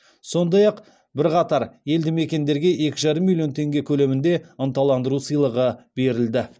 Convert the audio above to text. сондай ақ бірқатар елді мекендерге екі жарым миллион теңге көлемінде ынталандыру сыйлығы берілді